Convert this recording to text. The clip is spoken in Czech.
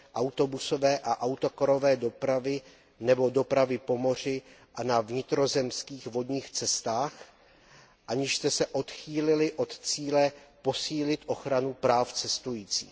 autobusové a autokarové dopravy nebo dopravy po moři a na vnitrozemských vodních cestách, aniž jste se odchýlili od cíle posílit ochranu práv cestujících.